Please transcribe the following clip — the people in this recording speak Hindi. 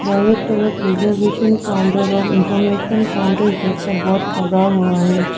और एक तरफ रिजर्वेशन काउंटर और इंफोर्मेशन काउंटर जैसा बोर्ड लगा हुआ है।